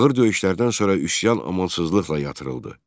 Ağır döyüşlərdən sonra üsyan amansızlıqla yatırıldı.